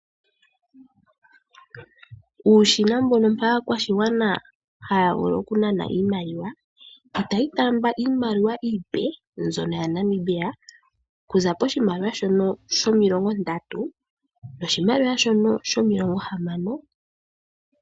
Uushina mbono mpoka aakwashigwana haya vulu okunana iimaliwa, itayi taamba iimaliwa iipe mbyono yaNamibia okuza poshimaliwa shono shomilongo ndatu noshimaliwa shono shomilongo hamano.